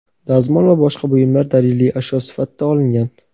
dazmol va boshqa buyumlar daliliy ashyo sifatida olingan.